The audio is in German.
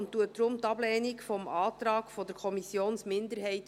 Deshalb beantragt er die Ablehnung des Antrags der Kommissionsminderheit.